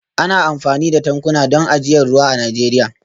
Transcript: Ana amfani da tankuna don ajiyar ruwa a Najeriya